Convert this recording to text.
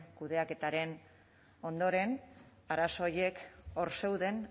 kudeaketaren ondoren arazo horiek hor zeuden